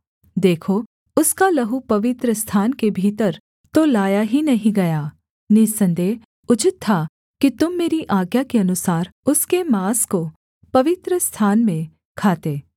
देखो उसका लहू पवित्रस्थान के भीतर तो लाया ही नहीं गया निःसन्देह उचित था कि तुम मेरी आज्ञा के अनुसार उसके माँस को पवित्रस्थान में खाते